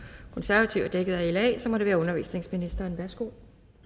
konservative er dækket af la og så må det være undervisningsministeren værsgo